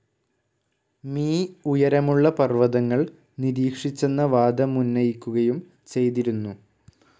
Me ഉയരമുള്ള പർവ്വതങ്ങൾ നിരീക്ഷിച്ചെന്ന വാദമുന്നയിക്കുകയും ചെയ്തിരുന്നു.